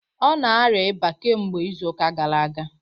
Ọ na-arịa ịba kemgbe izu ụka gara aga